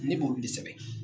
Ne b'olu de sɛbɛn.